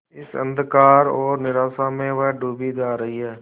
इस अंधकार और निराशा में वह डूबी जा रही है